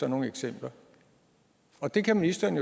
nogle eksempler og det kan ministeren